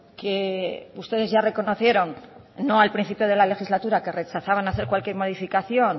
que ustedes ya reconocieron no al principio de la legislatura que rechazaban hacer cualquier modificación